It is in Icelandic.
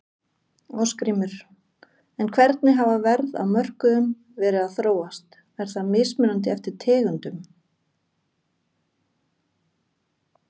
Ásgrímur: En hvernig hafa verð á mörkuðum verið að þróast, er það mismunandi eftir tegundum?